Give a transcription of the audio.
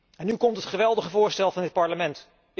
En nu komt het geweldige voorstel van dit Parlement.